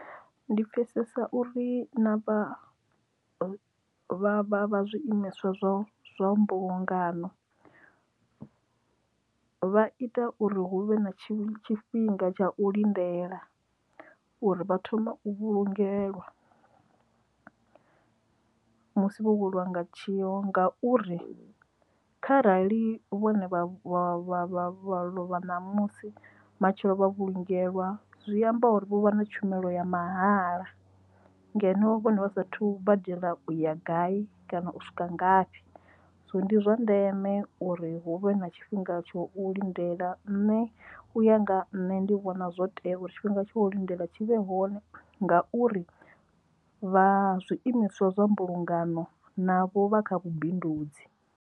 Ndi pfhesesa uri na vha zwiimiswa zwa zwa mbulungano vha ita uri hu vhe na tshifhinga tsha u lindela uri vha thoma u vhulungelwa musi wo weliwa nga tshiwo ngauri kharali vhone vha vha vha vha vha vha ṋamusi matshelo vha vhulungea lwa zwi amba uri vha na tshumelo ya mahala ngeno vhone vha sathu vha dzhiela uya gai kana u swika ngafhi so ndi zwa ndeme uri hu vhe na tshifhinga tsho u lindela nṋe u nga nṋe ndi vhona zwotea uri tshifhinga tsho lindela tshi vhe hone ngauri vha zwiimiswa zwa mbulungano navho vha kha vhubindudzi.